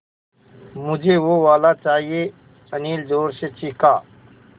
मझे वो वाला चाहिए अनिल ज़ोर से चीख़ा